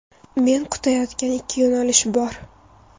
Men kutayotgan ikki yo‘nalish bor.